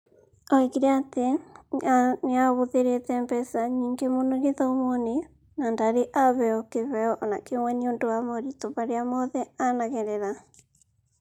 Oigire atĩ nĩahũthĩrite mbeca nyingĩ muno gĩthomo-inĩ na ndarĩ aheo kiheo o na kĩmwe nĩ ũndũ wa moritũ marĩa mothe anagerera.